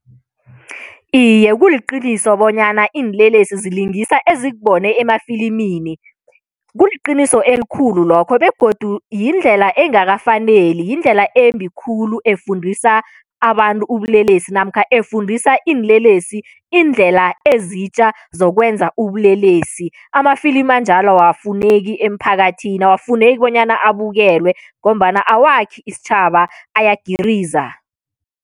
Iye, kuliqiniso bonyana iinlelesi zilingisa ezikubone emafilimini. Kuliqiniso elikhulu lokho begodu yindlela engakafaneli, yindlela embi khulu, efundisa abantu ubulelesi namkha efundisa iinlelesi iindlela ezitjha zokwenza ubulelesi. Amafilimu anjalo awafuneki emphakathini, awafuneki bonyana abukelwe ngombana awakhi isitjhaba, ayagiriza.